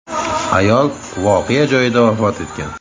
(ayol) voqea joyida vafot etgan.